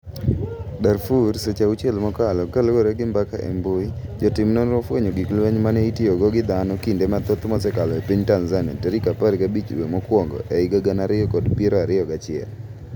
Darfur Seche auchiel mokalo kaluore gi mbaka e mbui. Jotim nonro ofwenyo gig lweny mane itiyogo gi dhano kinde mathoth msekalo e piny Tanzania tarik apar gabich dwe mokwongo ehiga gana ariyo kod piero ariyo gachiel.